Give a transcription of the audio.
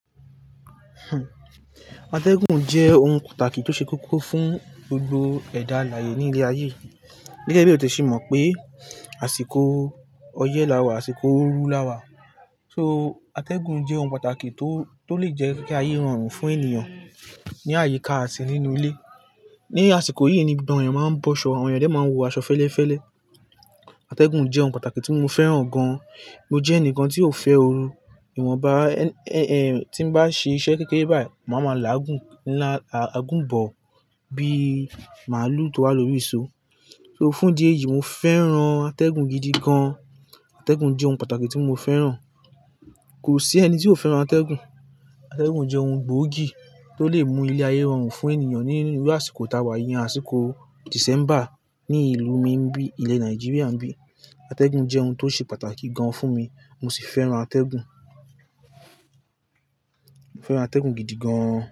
Atẹ́gùn jẹ́ ohun pàtàkì tó ṣe kókó fún gbogbo ẹ̀dá alààyè ní ilé ayé. Gẹ́gẹ́ bí èèyàn ti è ṣe mọ̀ pé, àsìkò ọyẹ́ lawà, àsìkò ooru lawà. Ategun jé òun pàtàkì tó lè jé kí ayé ròrùn fún ènìyàn ní àyíká àti nínú ile. Ni àsìkò yìí ni gbogbo àwọn èyàn máa ń bọ́ṣọ̀, àwọn èyàn dé máa ń wọ aṣọ fẹ́lẹ́fẹ́lẹ́. Atẹ́gùn jẹ́ ohun pàtàkì tí mo fẹ́ràn gan. Mo jé ènìkàn tí ó fé òru ìwọ̀nba, tí n bá ṣe iṣẹ́ kékeré báyìí, màá ma la àgùn ńlá, àgùn bọ bí màlúù tó wà lórí ìṣó. So fún dí eyìí mo fẹ́ràn atẹ́gùn gidi gan. Atẹ́gùn jẹ́ ohun pàtàkì tí mo fẹ́ràn. Kò sí ẹni tí ó fẹ́ràn atẹ́gùn. Atẹ́gùn jẹ́ ohun gbóògì tó lè mú ilé ayé rọrùn fún ènìyàn ní irú àsìkò tàwà yìí, àsìkò Dìsẹ́mbà ní ìlú mi ńbí ilẹ̀ Nàìjíríà ńbí. Atẹ́gùn jẹ́ ohun tó ṣe pàtàkì gan fún mi. Mo sì féràn ategun, mo féràn ategun gidi gan.